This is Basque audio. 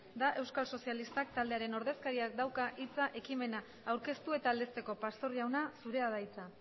da euskal sozialistak taldearen ordezkariak dauka hitza ekimena aurkeztu eta aldezteko pastor jauna zurea da hitza